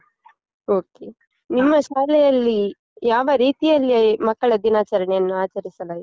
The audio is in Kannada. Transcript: Okay , ನಿಮ್ಮ ಶಾಲೆಯಲ್ಲಿ ಯಾವ ರೀತಿಯಲ್ಲಿ ಮಕ್ಕಳ ದಿನಾಚರಣೆಯನ್ನು ಆಚರಿಸಲಾಯಿತು?